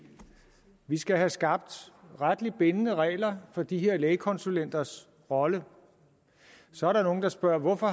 vi skal have skabt retligt bindende regler for de her lægekonsulenters rolle så er der nogle der spørger hvorfor